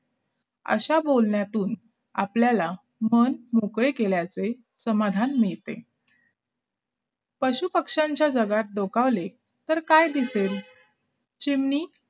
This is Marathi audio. अशा बोलण्यातून आपल्याला मन मोकळे केल्याचे समाधान मिळते पशुपक्ष्यांच्या जगात डोकावले तर काय दिसेल चिमणी